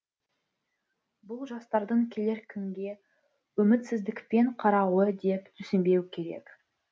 бұл жастардың келер күнге үмітсіздікпен қарауы деп түсінбеу керек